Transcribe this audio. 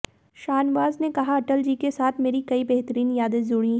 शाहनवाज ने कहा अटलजी के साथ मेरी कई बेहतरीन यादें जुड़ी हैं